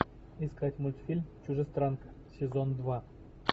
искать мультфильм чужестранка сезон два